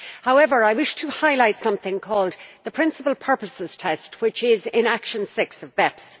However, I wish to highlight something called the principal purposes test' which is in Action 6 of BEPS.